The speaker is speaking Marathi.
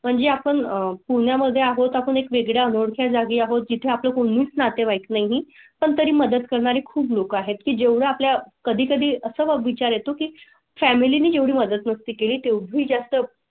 म्हणजे आपण पुण्या मध्ये आहोत. आपण एक वेगळ्या जागी आहोत जिथे आपले कोणी नातेवाईक नाही पण तरी मदत करणारे खूप लोक आहेत की जे आपल्या कधी कधी असा विचार येतो की फॅमिली जेवढी मदत मस्ती केली तेवढी जास्त.